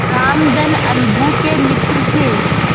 रामधन अलगू के मित्र थे